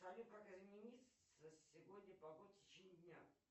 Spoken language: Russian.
салют как изменится сегодня погода в течение дня